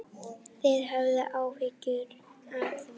Þið höfðuð áhyggjur af því?